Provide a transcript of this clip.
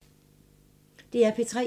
DR P3